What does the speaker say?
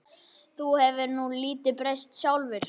Þú hefur nú lítið breyst sjálfur.